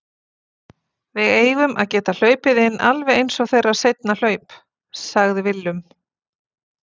Við eigum að geta hlaupið inn alveg eins og þeirra seinna hlaup, sagði Willum.